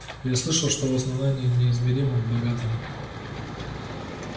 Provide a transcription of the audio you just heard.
я слышал что в основании неизмеримом богатом